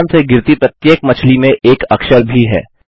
आसमान से गिरती प्रत्येक मछली में एक अक्षर भी है